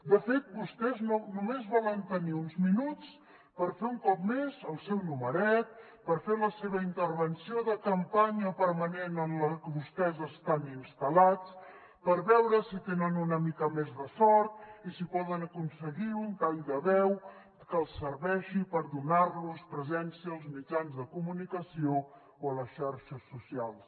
de fet vostès només volen tenir uns minuts per fer un cop més el seu numeret per fer la seva intervenció de campanya permanent en la que vostès estan instal·lats per veure si tenen una mica més de sort i si poden aconseguir un tall de veu que els serveixi per donar los presència als mitjans de comunicació o a les xarxes socials